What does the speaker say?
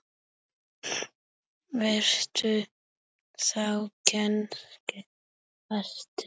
Varst þú kannski hæstur?